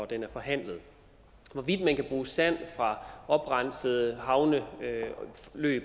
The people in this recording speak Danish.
den er forhandlet hvorvidt man kan bruge sand fra oprenset havneløb